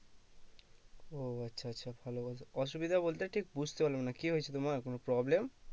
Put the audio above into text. ও আচ্ছা আচ্ছা ভালো ভালো, অসুবিধা বলতে ঠিক বুঝতে পারলাম না কি হয়েছে তোমার কোনো problem?